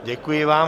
Děkuji vám.